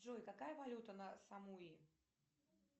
джой какая валюта на самуи